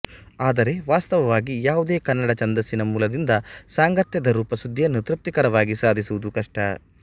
ಆದರೆ ವಾಸ್ತವವಾಗಿ ಯಾವುದೇ ಕನ್ನಡ ಛಂದಸ್ಸಿನ ಮೂಲದಿಂದ ಸಾಂಗತ್ಯದ ರೂಪಸಿದ್ದಿಯನ್ನು ತೃಪ್ತಿಕರವಾಗಿ ಸಾಧಿಸುವುದು ಕಷ್ಟ